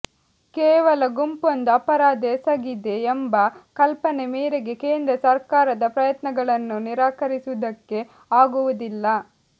ಕೇವಲ ಗುಂಪೊಂದು ಅಪರಾಧ ಎಸಗಿದೆ ಎಂಬ ಕಲ್ಪನೆ ಮೇರೆಗೆ ಕೇಂದ್ರ ಸರ್ಕಾರದ ಪ್ರಯತ್ನಗಳನ್ನು ನಿರಾಕರಿಸುವುದಕ್ಕೆ ಆಗುವುದಿಲ್ಲ